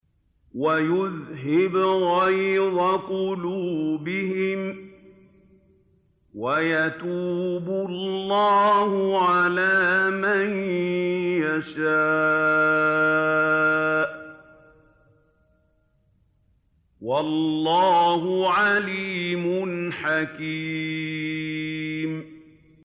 وَيُذْهِبْ غَيْظَ قُلُوبِهِمْ ۗ وَيَتُوبُ اللَّهُ عَلَىٰ مَن يَشَاءُ ۗ وَاللَّهُ عَلِيمٌ حَكِيمٌ